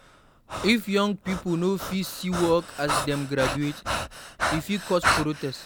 If young pipo no fit see work as dem graduate, e fit cause protest.